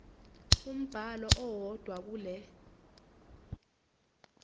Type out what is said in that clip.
umbhalo owodwa kule